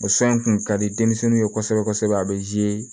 O kun ka di denmisɛnninw ye kosɛbɛ kosɛbɛ a bɛ